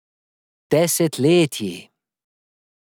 Desetletji.